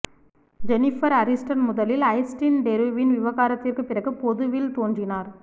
Jennifer Aniston முதலில் Justin டெருவின் விவாகரத்திற்குப் பிறகு பொதுவில் தோன்றினார்